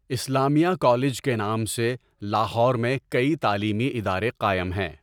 اسلامیہ college کے نام سے لاہور میں کٔی تعلیمی ادارے قایم ہیں.